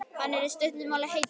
Hann er, í stuttu máli, heitur.